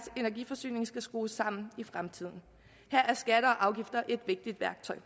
energiforsyning skal skrues sammen i fremtiden her er skatter og afgifter et vigtigt værktøj